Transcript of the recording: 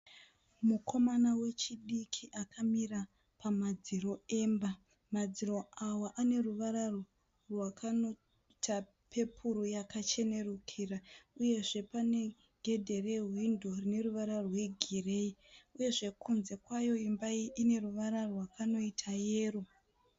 Mukomana wechidiki akamira pamadziro emba, madziro awa ane ruvara rwakanoita pepuru yakachenurikira uyezve pane gedhe rehwindo rine ruvara rwegireyi , uyezve kunze kwayo imba iyi ine ruvara rwakanoita yero.